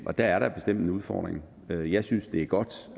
og der er der bestemt en udfordring jeg synes det er godt